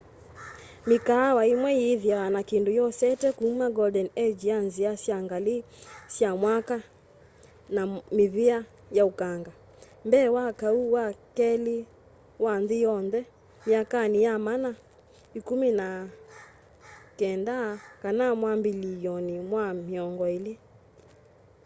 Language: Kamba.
mikaawa imwe yithiawa na kindu yosete kuma golden age ya nzia sya ngali sya mwaki na mivia ya ukanga mbee wa kau wa keli wa nthi yonthe myakani ya maana ikumi na kenda kana mwambililyoni wa miongo ili